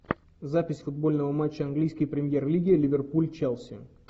запись футбольного матча английской премьер лиги ливерпуль челси